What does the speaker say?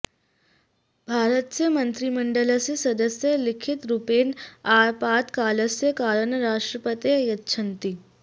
भारतस्य मन्त्रिमण्डलस्य सदस्याः लिखितरूपेण आपत्कालस्य कारणं राष्ट्रपतये यच्छन्ति